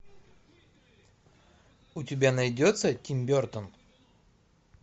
у тебя найдется тим бертон